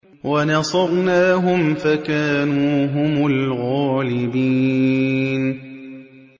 وَنَصَرْنَاهُمْ فَكَانُوا هُمُ الْغَالِبِينَ